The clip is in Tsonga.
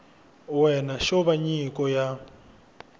wena xo va nyiko ya